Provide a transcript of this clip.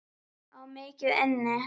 Á mikið inni.